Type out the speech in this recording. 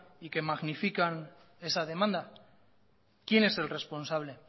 y que magnifican esa demanda quién es el responsable